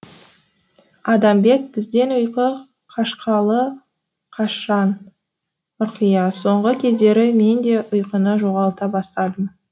адамбек бізден ұйқы қашқалы қашан ұрқия соңғы кездері мен де ұйқыны жоғалта бастадым